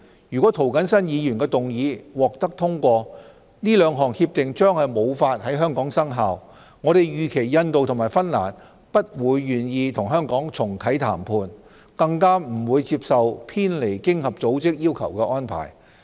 如果涂謹申議員動議的議案獲通過，該兩項協定將無法在香港生效，我們預期印度和芬蘭不會願意與香港重啟談判，更不會接受偏離經合組織要求的安排。